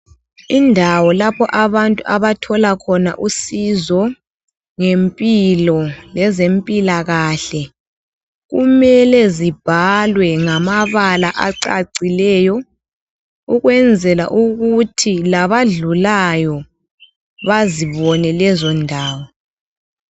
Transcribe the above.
Indawo lapha abantu abathola khona usizo ngempilo lezempilakahle. Kumele zibhalwe ngamabala acacileyo, ukwenzela ukuthi labadlulayo, bazibone lezondawo.